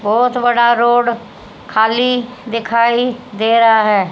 बहोत बड़ा रोड खाली दिखाई दे रहा है।